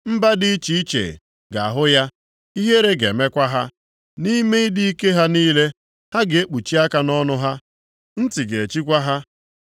Mba dị iche iche ga-ahụ ya, ihere ga-emekwa ha, nʼime ịdị ike ha niile. Ha ga-ekpuchi aka nʼọnụ ha, ntị ga-echikwa ha.